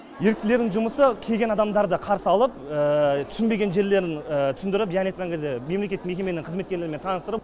еріктілердің жұмысы келген адамдарды қарсы алып түсінбеген жерлерін түсіндіріп яғни айтқан кезде мемлекеттік мекеменің қызметкерлерімен таныстырып